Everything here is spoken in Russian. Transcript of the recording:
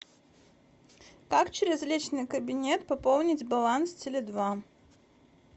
как через личный кабинет пополнить баланс теле два